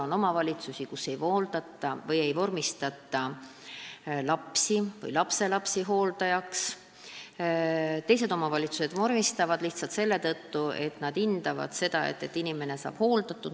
On omavalitsusi, kus ei vormistata lapsi või lapselapsi hooldajaks, teised omavalitsused vormistavad – lihtsalt seetõttu, et nad hindavad seda, et inimene on hooldatud.